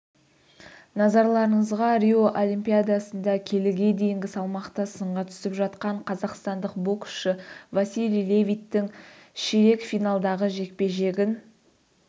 назарларыңызға рио олимпиадасында келіге дейінгі салмақта сынға түсіп жатқан қазақстандық боксшы василий левиттің ширек финалдағы жекпе-жегін